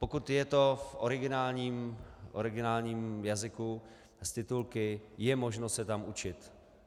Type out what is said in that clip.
Pokud je to v originálním jazyku s titulky, je možné se tam učit.